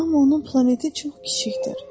Amma onun planeti çox kiçikdir.